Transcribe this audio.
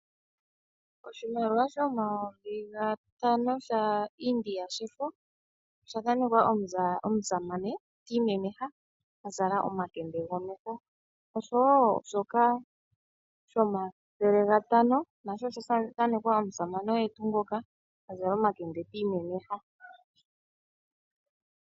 Oshimaliwa shomayovi gatano ga India oshifo, osha thanekwa omusamane ti imemeha azala omakende gomeho, osho wo shomathele gatano nasho osha thanekwa omusamane oye tuu ngoka azala omakende ti imemeha.